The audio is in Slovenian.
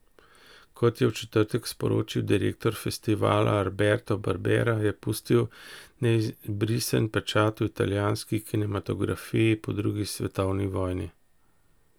Kot je v četrtek sporočil direktor festivala Alberto Barbera, je pustil neizbrisen pečat v italijanski kinematografiji po drugi svetovni vojni.